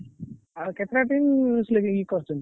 ଆଉ କେତେଟା team କରିଛନ୍ତି?